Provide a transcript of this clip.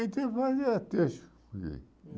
Então, fazia a